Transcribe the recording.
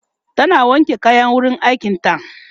tana wanke kayan wurin aikin ta